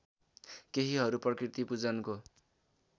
केहीहरू प्रकृतिपूजनको